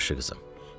“Yaxşı, qızım.